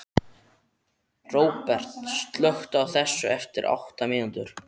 Róbert, slökktu á þessu eftir átta mínútur.